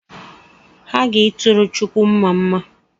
Ha ga-ituru chukwu mmamma